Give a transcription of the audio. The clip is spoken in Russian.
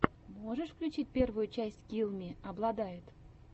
можешь включить первую часть килл ми обладает